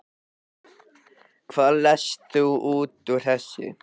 Hvað lest þú út úr þessu?